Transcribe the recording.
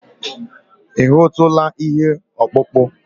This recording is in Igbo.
Ị hụtụla ihe ọkpụkpụ?